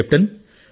captain